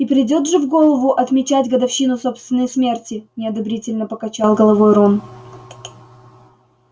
и придёт же в голову отмечать годовщину собственной смерти неодобрительно покачал головой рон